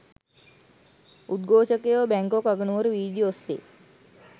උද්ඝෝෂකයෝ Bangkok අගනුවර වීදි ඔස්සේ